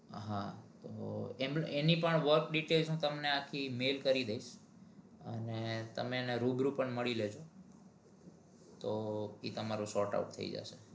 હા તો એમની work details તમને આખી mali કરી દઇસ અને તમને એમને રૂબરૂ પણ મળી લેજે